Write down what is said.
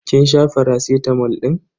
Kin sha faracitamol din?